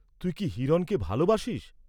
তুই কি হিরণকে ভালবাসিস্?